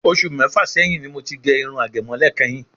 Ọṣù mẹ́fà sẹyìn ni mo ti gẹ irun àgẹ̀mọ́lẹ̀ kẹ́yìn.